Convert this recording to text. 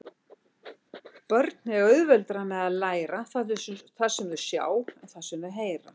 Börn eiga auðveldara með að læra það sem þau sjá en það sem þau heyra.